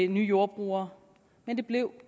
nye jordbrugere men det blev